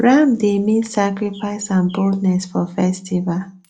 ram dey mean sacrifice and boldness for festival